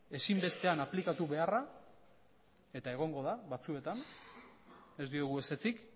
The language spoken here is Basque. ezinbestean aplikatu beharra eta egongo da batzuetan ez diogu ezetzik